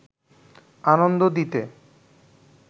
আনন্দ দিতে